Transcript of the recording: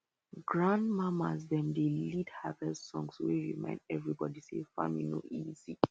grandmamas dem dey lead harvest songs wey remind everybody say farming no easy